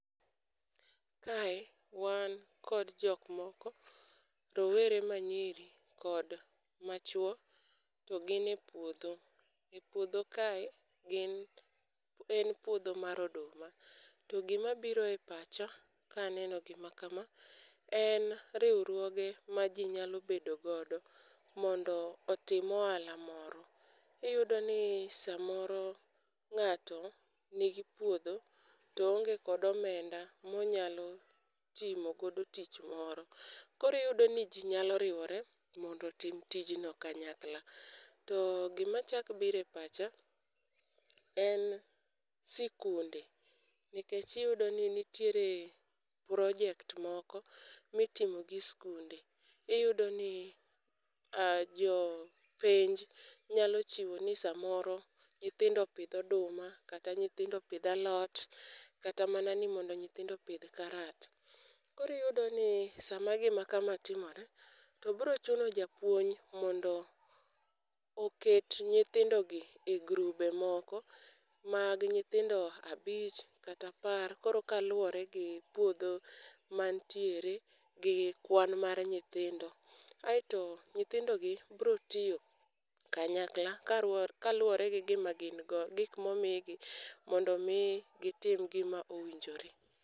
Kae, wan kod jok moko, rowere manyiri kod machuo, to gin e puodho. E puodho kae, gin en puodho mar oduma. To gima biro e pacha kaneno gima kama, en riwruoge ma jinyalo bedo godo mondo otim ohala moro. Iyudo ni samoro ng'ato nigi puodho to oonge kod omenda monyalo timo godo tich moro. Koro iyudo ni ji nyalo riwore mondo tim tijno kanyakla. To gima chakbire pacha en sikunde. Nikech iyudo ni nitiere project moko ma itimo gi skunde. Iyudo ni jo penj nyalo chiwo ni samoro, nyithindo pidh oduma kata nyithindo pidh alot, kata mana ni mondo nyithindo pidh karat. Koro iyudo ni sama gima kama timre, to biro chuno japuonj mondo oket nyithindogi e group moko mag nyithindo abich kata apar. Koro, kaluwore gi puodho mantiere, gi kwan mar nyithindo. Aeto, nyithindogi biro tiyo kanyakla kaluwore gi gima gin go, gik ma omigi mondo mi gitim gima owinjore.